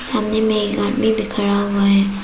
सामने एक आदमी भी खड़ा हुआ है।